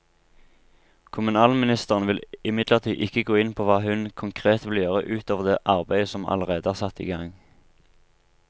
Kommunalministeren vil imidlertid ikke gå inn på hva hun konkret vil gjøre ut over det arbeidet som allerede er satt i gang.